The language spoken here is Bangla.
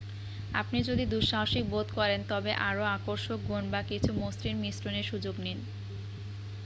আপনি যদি দু সাহসিক বোধ করেন তবে আরও আকর্ষক গুণ বা কিছু মসৃণ মিশ্রণের সুযোগ নিন